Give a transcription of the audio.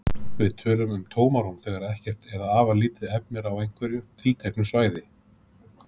Við tölum um tómarúm þegar ekkert eða afar lítið efni er á einhverju tilteknu svæði.